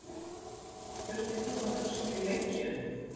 Þurftir þú að hugsa þig lengi um?